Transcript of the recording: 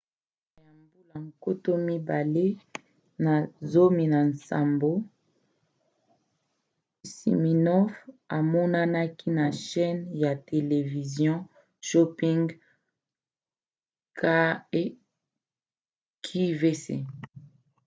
na suka ya 2017 siminoff amonanaki na chaîne ya televizio shopping qvc